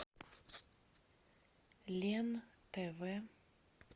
лен тв